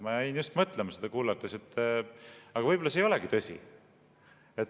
Ma jäin mõtlema seda kuulates, et aga võib-olla see ei olegi tõsi.